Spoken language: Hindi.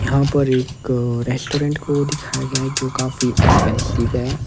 यहां पर एक रेस्टोरेंट को दिखाया गया है जो काफी एक्सपेंसिव है।